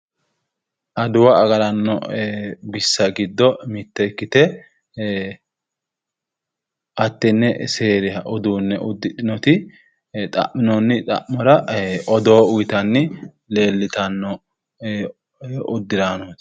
Adawa agaranno bissa giddo mitte ikkite hattenne seeruha uduunne uddidhinoti xa'minoonni xa'mora odoo uyitanni leellitanno uddiraanooti.